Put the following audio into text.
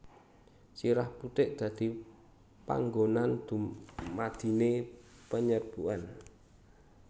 Sirah putik dadi panggonan dumadine penyerbukan